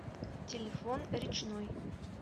телефон речной